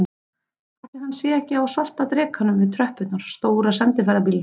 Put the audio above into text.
Ætli hann sé ekki á svarta drekanum við tröppurnar, stóra sendiferðabílnum.